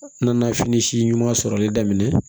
N nana fini si ɲuman sɔrɔli daminɛ